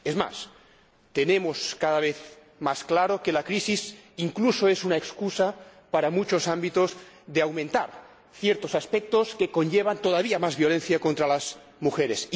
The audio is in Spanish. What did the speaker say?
Es más, tenemos cada vez más claro que la crisis incluso es una excusa, en muchos ámbitos, para aumentar ciertos aspectos que conllevan todavía más violencia contra las mujeres.